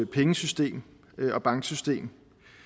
pengesystem og banksystem